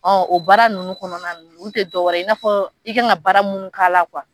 Ɔ o baara ninnu kɔnɔna na olu tɛ dɔwɛrɛ i n'a fɔ i kan ka baara minnu k'a la kuwa